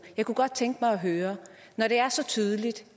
jeg kunne godt tænke mig at høre når det er så tydeligt